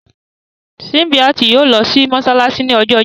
Símbíàtì yóò lọ sí Mossalasi ní ọjọ́ Jímọ̀.